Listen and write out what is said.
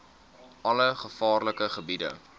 alle gevaarlike gebiede